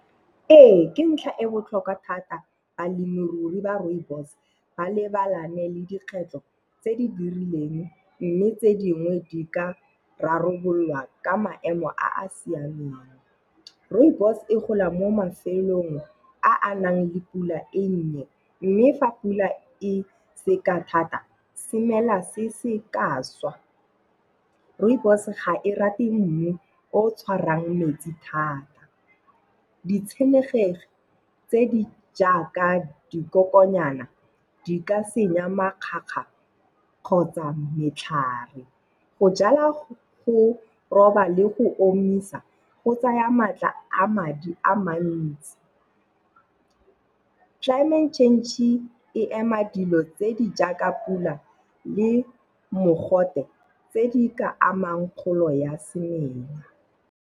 Ee, ke ntlha e botlhokwa thata balemirui ba rooibos ba lebane le dikgwetlho tse di dirileng mme tse dingwe di ka rarabololwa ka maemo a a siameng. Rooibos e gola mo mafelong a a nang le pula e nnye mme fa pula e seka thata semela se ka swa. Rooibos ga e rate mmu o o tshwarang metsi thata. Ditshenekegi tse di jaaka dikokonyana, di ka senya makgakga kgotsa metlhare Go jala, go roba le go omisa, go tsaya maatla a madi a mantsi. Climate change-e ema dilo tse di jaaka pula le mogote tse di ka amang kgolo ya semenya.